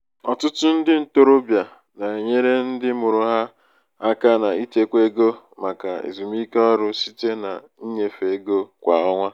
ọtụtụ ndị ntorobịa na-enyere ndị mụrụ ha aka n’ịchekwa ego maka ezumike ọrụ site na ịnyefe ego kwa ọnwa.